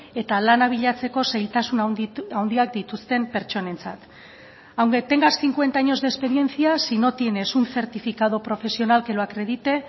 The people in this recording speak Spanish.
eta lana bilatzeko zailtasun handiak dituzten pertsonentzat aunque tengas cincuenta años de experiencia si no tienes un certificado profesional que lo acredite